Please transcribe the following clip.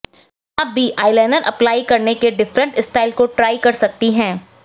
आप भी eyeliner apply करने के डिफरेंट स्टाइल को ट्राई कर सकती हैं